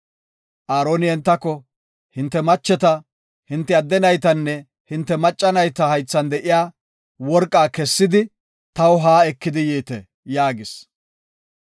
Aaroni entako, “Hinte macheta, hinte adde naytanne hinte macca nayta haythan de7iya worqaa kessidi, taw haa ekidi yiite” yaagis.